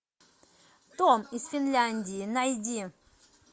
том из финляндии найди